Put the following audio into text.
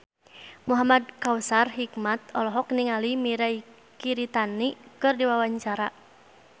Muhamad Kautsar Hikmat olohok ningali Mirei Kiritani keur diwawancara